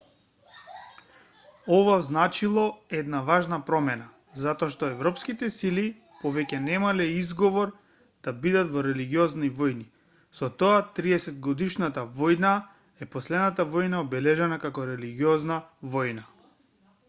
ова означило една важна промена затоа што европските сили повеќе немале изговор да бидат во религиозни војни со тоа триесетгодишната војна е последната војна обележана како религиозна војна